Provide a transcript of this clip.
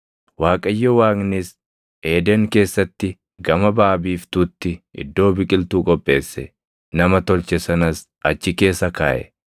Waaqayyo Waaqnis Eeden keessatti gama baʼa biiftuutti iddoo biqiltuu qopheesse; nama tolche sanas achi keessa kaaʼe.